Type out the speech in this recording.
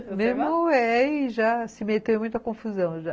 Meu irmão é e já se meteu em muita confusão já.